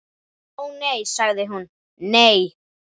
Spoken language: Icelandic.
Ó, nei sagði hún, nei.